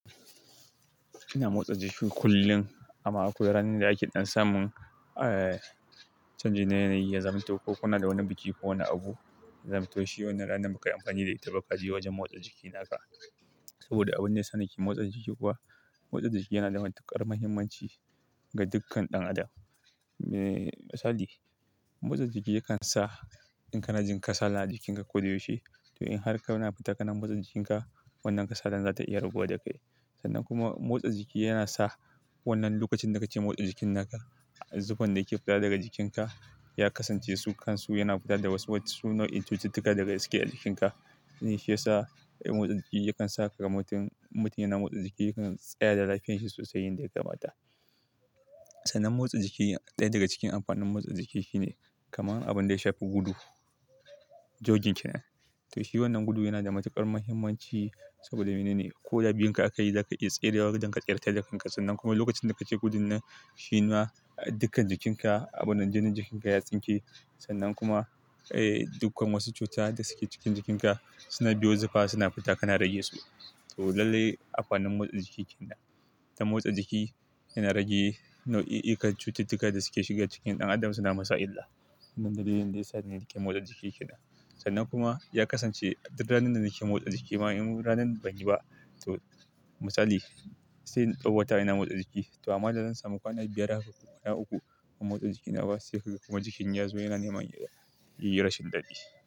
Ina motsa jiki kullum amma akwai ranar da ake dan samun, eh, canji na yanayi, ya zamanto ko kunada wani biki ko wana abu, ya zamto shi wannan ranar bakayi amfani da ita ba kaje wajen motsa jiki naka. Saboda abun da yasa nake motsa jiki kuwa, motsarda jiki yana da matuƙar muhimmanci ga dukkan ɗan adam. Eh, misali, motsa jiki yakan sa in kana jin kasala a jikinka koda yaushe, to in har kana fita kana motsa jikinka wannan kasalar za ta iya raguwa da kai. Sannan kuma motsa jiki yana sa wannan lokacin da kake motsa jikin naka, zuffan da yake fita daga jikinka ya kasance su kan su yana fita da wasu, wasu nau'in cututtuka daga cike a jikinka. Wannan Shiyasa motsa jiki yakan saka ka mutum, mutum yana motsa jiki yakan tsaya da lafiyanshi sosai yanda yakamata. Sannan motsa jiki, ɗaya daga cikin amfanin motsa jiki shine kamar abinda ya shafi gudu, jogging kenan. To shi wannan gudu yana da matuƙar muhimmanci saboda mene ne? Koda biyunka aka yi da aka iya tserewa don ka tseratarda kanka sannan kuma lokacin da kake gudun nan shina dukkan jikinka, abunnan jinin jikinka ya tsinke sannan kuma, eh, dukkan wasu cuta da suke cikin jikinka suna biyo zuffa suna fita kana rage su. To lallai amfanin motsa jiki kenan. Da motsa jiki yana rage nau'i, ikar cututtuka da suke shiga cikin ɗan adam suna masa illa. Wadannan ne wasu dalilan da ya sa muke motsa jiki kenan. Sannan kuma ya kasance duk ranar da muke motsa jiki ma in ranan banyi ba, to misali sai in ɗau wata ina motsa jiki. To amma zan samu kwana biyar a ciki ko kwana uku ban motsa jiki naba sai kaga kuma jikin yazo yana neman ya yi rashin dadi.